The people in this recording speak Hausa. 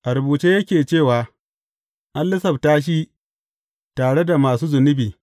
A rubuce yake cewa, An lissafta shi tare da masu zunubi.’